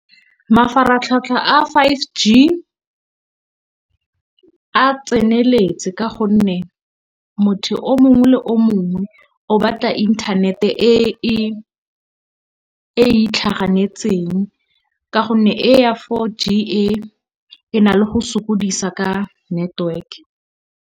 Mafaratlhatlha a five G a tseneletse ka gonne motho o mongwe le o mongwe o batla inthanete e e itlhaganetseng, ka gonne e ya four G e na le go sokodisa ka network.